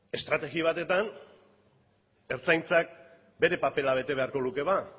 estrategi batetan ertzaintzak bere papera bete beharko luke ba